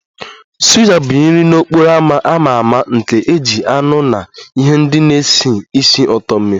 Suya bụ nri n'okporo ámá a ma ama nke e ji anụ na ihe ndị na-esi ísì ụtọ mee